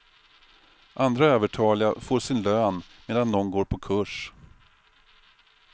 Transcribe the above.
Andra övertaliga får sin lön medan de går på kurs.